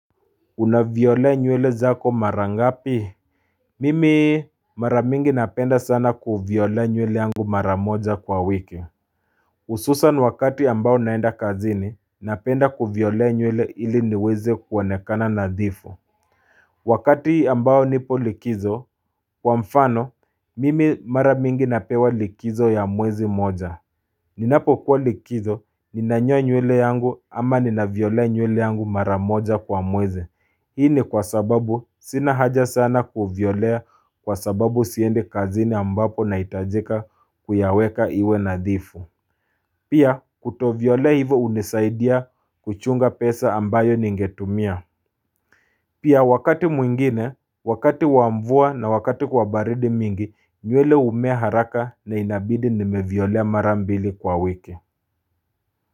Unavyolea nywele zako mara ngapi Mimi maramingi napenda sana kuviolea nywele yangu mara moja kwa wiki Hususan wakati ambao naenda kazini napenda kuviolea nywele ili niweze kuonekana nadhifu Wakati ambao nipo likizo kwa mfano mimi maramingi napewa likizo ya mwezi moja Ninapo kuwa likizo ninanyoa nywele yangu ama ninaviolea nywele yangu mara moja kwa mweze Hii ni kwa sababu sina haja sana kuviolea kwa sababu siendi kazini ambapo nahitajika kuyaweka iwe nadhifu Pia kuto violea hivo unisaidia kuchunga pesa ambayo ningetumia Pia wakati mwingine, wakati wa mvua na wakati kwa baridi mingi nywele ume haraka na inabidi nimeviolea marambili kwa wiki.